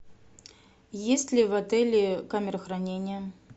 есть ли в отеле камера хранения